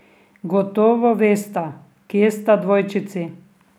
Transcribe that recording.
Gotovo vesta, kje sta dvojčici.